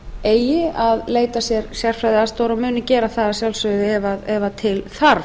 eigi að leita sér sérfræðiaðstoðar og muni gera það ef með þarf